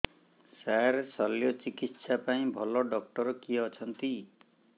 ସାର ଶଲ୍ୟଚିକିତ୍ସା ପାଇଁ ଭଲ ଡକ୍ଟର କିଏ ଅଛନ୍ତି